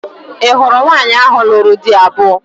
Ị hụrụ nwaanyị ahụ lụrụ di abụọ?